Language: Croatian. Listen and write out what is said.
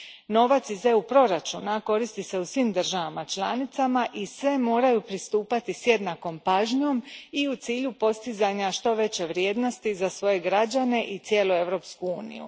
Novac iz proračuna EU a koristi se u svim državama članicama i sve moraju pristupati s jednakom pažnjom i u cilju postizanja što veće vrijednosti za svoje građane i cijelu Europsku uniju.